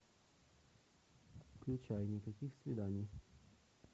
включай никаких свиданий